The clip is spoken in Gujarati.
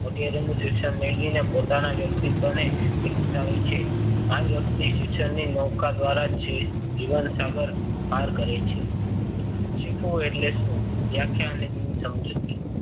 વગેરેનું શિક્ષણ મેળવીને પોતાના વ્યક્તિત્વને ઈચ્છાવે આવે છે. આ વ્યક્તિ શિક્ષણને નવકાર દ્વારા જીવન સાગર પાર કરે છે. શીખવું એટલે શું? વ્યાખ્યા અને તેની સમજૂતી.